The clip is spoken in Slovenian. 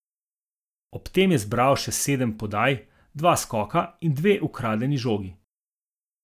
Ob tem je zbral še sedem podaj, dva skoka in dve ukradeni žogi.